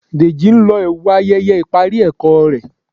Deji n ló ẹwu ayẹyẹ ipari ẹkọ rẹ